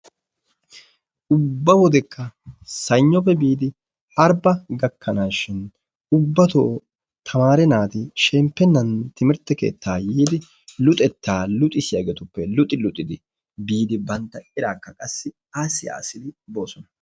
Ubba wodekka Saynnoppe biidi Arbba gakkanaashin ubbatoo tamare naati shemppennan timirtte keettaa yiidi luxettaa luxissiyagetuppe luxi luxidi biidi bantta erakka qassi aassi aassid boosona.